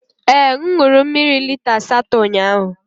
Ee, m ṅụrụ mmiri lita asatọ ụnyahụ.